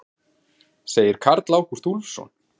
Segir Karl Ágúst Úlfsson.